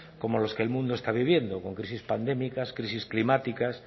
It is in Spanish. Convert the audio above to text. como los que el mundo está viviendo con crisis pandémicas crisis climáticas